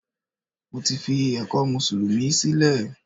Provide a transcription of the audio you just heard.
Mo ti fi ẹ̀kọ́ mùsùlùmí sílẹ̀